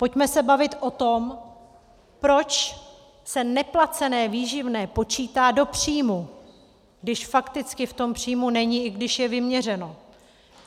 Pojďme se bavit o tom, proč se neplacené výživné počítá do příjmu, když fakticky v tom příjmu není, i když je vyměřeno.